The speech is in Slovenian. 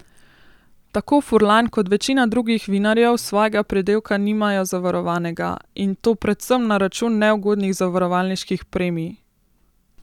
Tako Furlan kot večina drugih vinarjev svojega pridelka nimajo zavarovanega, in to predvsem na račun neugodnih zavarovalniških premij.